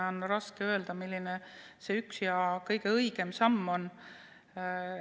On raske öelda, milline see üks ja kõige õigem samm võiks olla.